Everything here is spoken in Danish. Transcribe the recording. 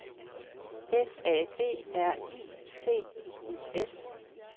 F A B R I C I U S